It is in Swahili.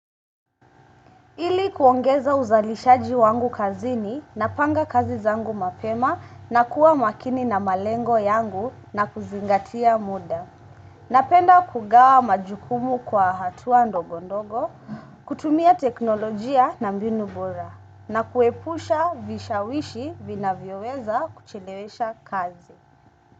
Ili kuongeza uzalishaji wangu kazini napanga kazi zangu mapema na kuwa makini na malengo yangu na kuzingatia muda. Napenda kugawa majukumu kwa hatua ndogo ndogo, kutumia teknolojia na mbinu bora na kuepusha vishawishi vinavyoweza kuchelewesha kazi.